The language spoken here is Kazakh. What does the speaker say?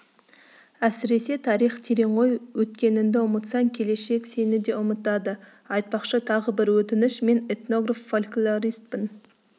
әсіресе тарих терең ғой өткеніңді ұмытсаң келешек сені де ұмытады айтпақшы тағы бір өтініш мен этнограф-фольклористпін